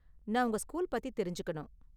நான் உங்க ஸ்கூல் பத்தி தெரிஞ்சுக்கணும்.